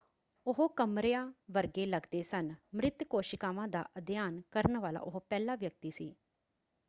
ਉਹ ਕਮਰਿਆਂ ਵਰਗੇ ਲੱਗਦੇ ਸਨ। ਮ੍ਰਿਤ ਕੋਸ਼ਿਕਾਵਾਂ ਦਾ ਅਧਿਐਨ ਕਰਨ ਵਾਲਾ ਉਹ ਪਹਿਲਾ ਵਿਅਕਤੀ ਸੀ।